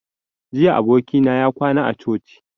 Jiya abokina ya kwana a coci